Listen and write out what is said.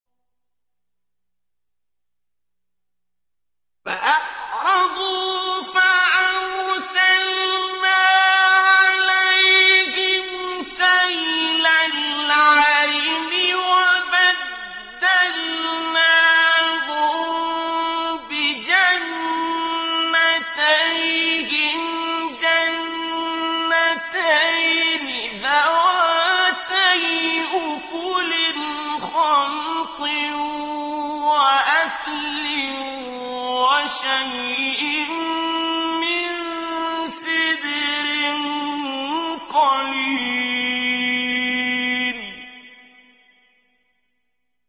فَأَعْرَضُوا فَأَرْسَلْنَا عَلَيْهِمْ سَيْلَ الْعَرِمِ وَبَدَّلْنَاهُم بِجَنَّتَيْهِمْ جَنَّتَيْنِ ذَوَاتَيْ أُكُلٍ خَمْطٍ وَأَثْلٍ وَشَيْءٍ مِّن سِدْرٍ قَلِيلٍ